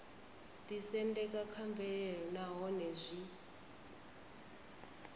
ḓisendeka kha mvelelo nahone zwi